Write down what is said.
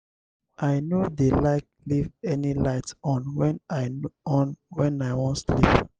i no dey like leave any light on wen i on wen i wan sleep.